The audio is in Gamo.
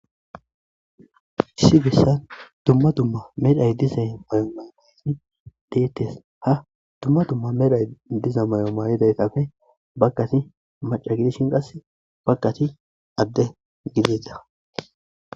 Issi bessan dumma dumma medhdheay diiza maayo mayiidi dettes ha dumma dumma medhdhoy diiza maayo mayidayttappe baggati macca giddishin qasse baggati adde giddida.